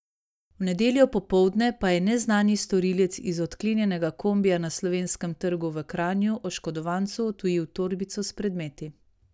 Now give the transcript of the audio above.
V nedeljo popoldne pa je neznani storilec iz odklenjenega kombija na Slovenskem trgu v Kranju oškodovancu odtujil torbico s predmeti.